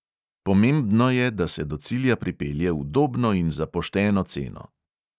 Pomembno je, da se do cilja pripelje udobno in za pošteno ceno.